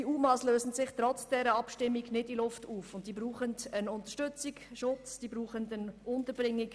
Die UMA lösen sich trotz dieser Abstimmung nicht in Luft auf, und sie brauchen Unterstützung, Schutz und Unterbringung.